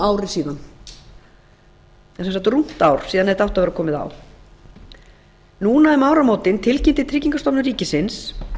rúmt ár síðan þetta átti að vera komið á núna um áramótin tilkynnti tryggingastofnun ríkisins